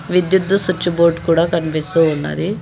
విద్యుత్ switch board కూడా కనిపిస్తూ ఉన్నది.